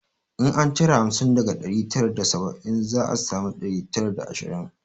In an cire hamsin daga ɗari tara da saba'in za a sami ɗari tara da ashirin